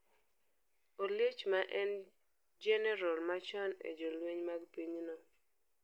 Oliech maen en jenerol machon e jolweny mag pinyno,